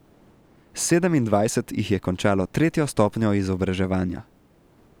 Sedemindvajset jih je končalo tretjo stopnjo izobraževanja.